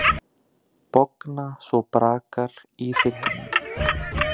Bogna svo brakar í hryggnum.